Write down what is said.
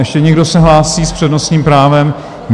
Ještě někdo se hlásí s přednostním právem?